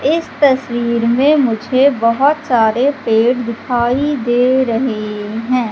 इस तस्वीर में मुझे बहुत सारे पेड़ दिखाई दे रहे हैं।